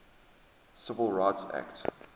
civil rights act